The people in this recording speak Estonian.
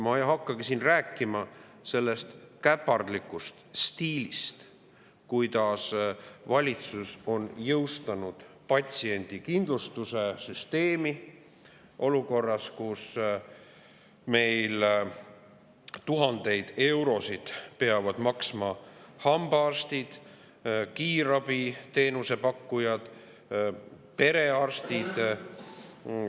Ma ei hakkagi siin rääkima sellest käpardlikust stiilist, kuidas valitsus on jõustanud patsiendikindlustuse süsteemi, nii et tuhandeid eurosid peavad maksma hambaarstid, kiirabiteenuse pakkujad, perearstid.